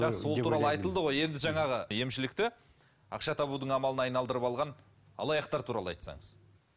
жақсы ол туралы айтылды ғой енді жаңағы емшілікті ақша табудың амалына айналдырып алған алаяқтар туралы айтсаңыз